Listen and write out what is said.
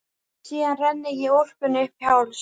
Síðan renni ég úlpunni upp í háls.